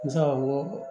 Musaka ko